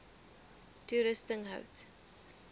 toerusting hout